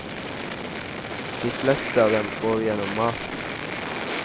De fleste av dem får vi gjennom maten.